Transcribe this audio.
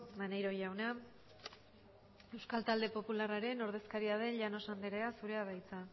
maneiro jauna euskal talde popularraren ordezkaria den llanos anderea zurea da hitza